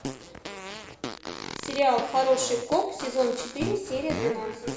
сериал хороший коп сезон четыре серия двенадцать